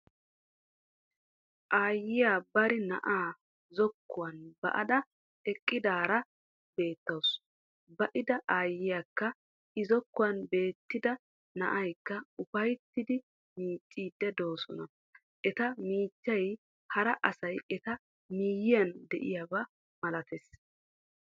Aayyiya bari na'aa zokkuwan ba'ada eqqidaara beettawusu. Ba'ida aayyiyakka i zokkuwan ba'ettida na'aykka ufayttidi miicciiddi doosona. Eta miichchiya hara asi eta miyyiuan de'iyaba malatees.